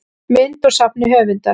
mynd úr safni höfundar